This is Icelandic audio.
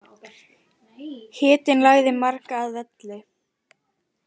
Hitinn lagði marga að velli